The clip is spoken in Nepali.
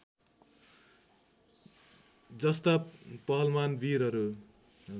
जस्ता पहलमान वीरहरू